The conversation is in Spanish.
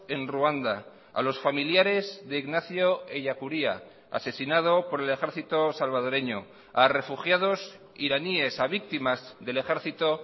en ruanda a los familiares de ignacio ellacuría asesinado por el ejército salvadoreño a refugiados iraníes a víctimas del ejército